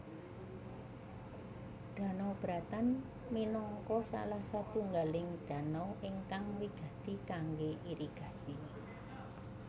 Danau Bratan minangka salah satunggaling danau ingkang wigati kangge irigasi